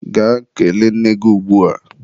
Gaa kelee nne gị ugbua!